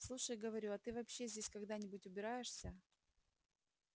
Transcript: слушай говорю а ты вообще здесь когда-нибудь убираешься